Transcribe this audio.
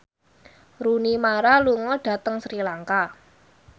Rooney Mara lunga dhateng Sri Lanka